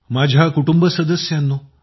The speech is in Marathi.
माझ्या कुटुंब सदस्यांनो